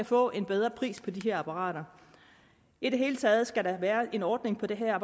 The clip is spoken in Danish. få en bedre pris på de her apparater i det hele taget skal der være en ordning på det her